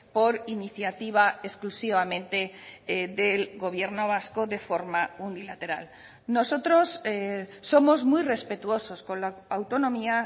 por iniciativa exclusivamente del gobierno vasco de forma unilateral nosotros somos muy respetuosos con la autonomía